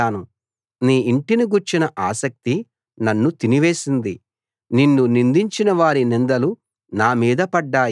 నీ ఇంటిని గూర్చిన ఆసక్తి నన్ను తినివేసింది నిన్ను నిందించిన వారి నిందలు నా మీద పడ్డాయి